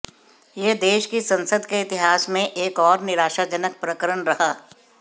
यह देश की संसद के इतिहास में एक और निराशाजनक प्रकरण रहा